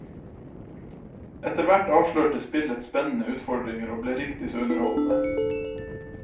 Etterhvert avslørte spillet spennende utfordringer og ble riktig så underholdende.